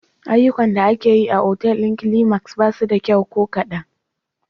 Ayyukan da ake yi a otal ɗin Climax ba su da kyau ko kadan.